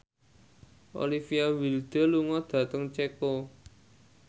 Olivia Wilde lunga dhateng Ceko